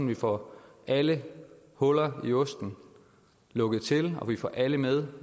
vi får alle huller i osten lukket til og vi får alle med